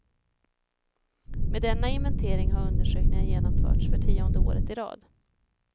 Med denna inventering har undersökningen genomförts för tionde året i rad.